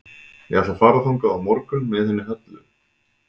Ég ætla að fara þangað á morgun með henni Höllu.